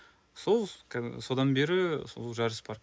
сол содан бері сол жарыс бар